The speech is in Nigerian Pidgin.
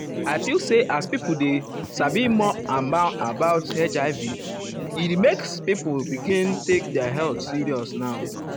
i feel say as people dey sabi more about more about um hiv ah e make people um begin take their health serious now.